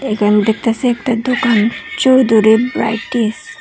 এখানে দেখতাসি একটা দোকান চৌধুরী ব্রাইটিস ।